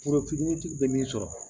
Foro fitinitigi bɛ min sɔrɔ